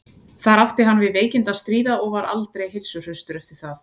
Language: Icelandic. þar átti hann við veikindi að stríða og var aldrei heilsuhraustur eftir það